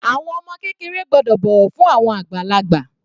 Àwọn ọmọ kékeré gbọ́dọ̀ bọ̀wọ̀ fún àwọn àgbàlagbà.